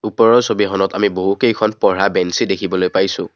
ওপৰৰ ছবিখনত আমি বহু কেইখন পঢ়া বেঞ্চি দেখিবলৈ পাইছোঁ।